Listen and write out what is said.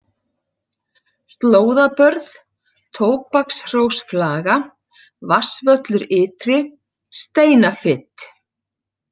Slóðabörð, Tóbakshrósflaga, Vatnsvöllur ytri, Steinafit